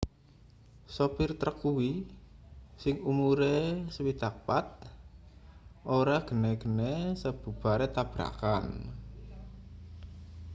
sopir trek kuwi sing umure 64 ora gene-gene sabubare tabrakan